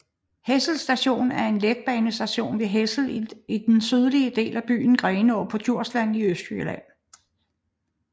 Hessel Station er en letbanestation ved Hessel i den sydlige del af byen Grenaa på Djursland i Østjylland